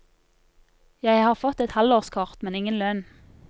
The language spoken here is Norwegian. Jeg har fått et halvårskort, men ingen lønn.